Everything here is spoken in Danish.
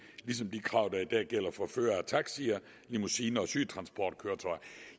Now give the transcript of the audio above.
ligesom de krav der i dag gælder for førere af taxier limousiner og sygetransportkøretøjer